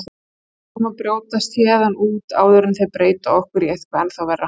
Við ætlum að brjótast héðan út áður en þeir breyta okkur í eitthvað ennþá verra.